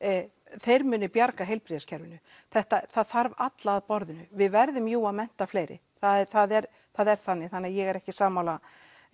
þeir muni bjarga heilbrigðiskerfinu það þarf alla að borðinu við verðum jú að mennta fleiri það er það er það er þannig þannig að ég er ekki sammála